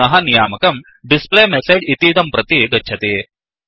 पुनः नियामकं displayMessageडिस्प्ले मेसेज् इतीदं प्रति गच्छति